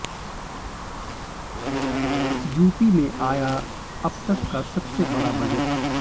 UP में आया अब तक का सबसे बड़ा बजट